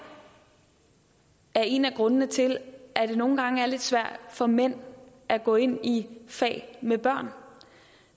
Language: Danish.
er en af grundene til at det nogle gange er lidt svært for mænd at gå ind i fag med børn